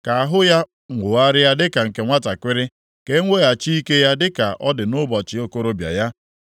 Ka ahụ ya nwogharịa dịka nke nwantakịrị, ka a eweghachi ike ya dịka ọ dị nʼụbọchị okorobịa ya.’